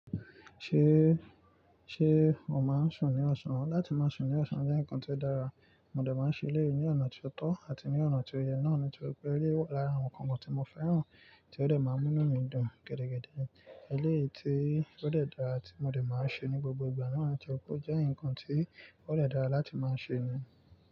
Ṣé, ṣé o máa ń sún ní ọ̀sán? Láti máa sún ní ọ̀sán jẹ́ ǹkan ti ó dára, mo dẹ̀ máa ń ṣe èléyi ní ọ̀nà ti ó tọ́ àti ní ọ̀nà ti ó yẹ náà nítorí pé eléyi wà lára àwọn nkankan tí mo fẹ́ràn tí ó dẹ̀ máa ń mú inu mí dùn gidigidi. Eléyii tí ó dẹ́ dára tí mo dẹ̀ máa ń ṣe ní gbogbo ìgbà náà ni toripe o jẹ́ nǹkan tí ó dé dára láti máa ṣe ni.